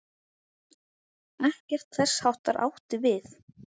Ekkert þess háttar átti við.